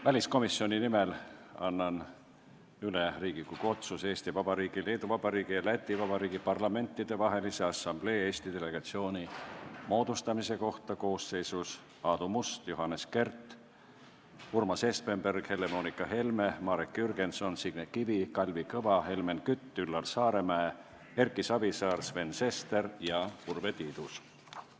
Väliskomisjoni nimel annan üle Riigikogu otsuse Eesti Vabariigi, Leedu Vabariigi ja Läti Vabariigi Parlamentidevahelise Assamblee Eesti delegatsiooni moodustamise kohta koosseisus Aadu Must, Johannes Kert, Urmas Espenberg, Helle-Moonika Helme, Marek Jürgenson, Signe Kivi, Kalvi Kõva, Helmen Kütt, Üllar Saaremäe, Erki Savisaar, Sven Sester ja Urve Tiidus.